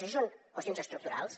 això són qüestions estructurals